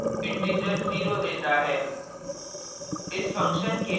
यह statement integer zero देता है